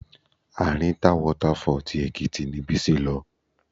Arinta Water Fall tí Èkìtì ni Bísí lọ.